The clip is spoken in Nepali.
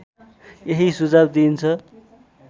यही सुझाव दिइन्छ